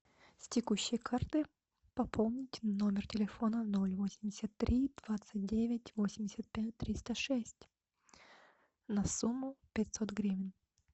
с текущей карты пополнить номер телефона ноль восемьдесят три двадцать девять восемьдесят пять триста шесть на сумму пятьсот гривен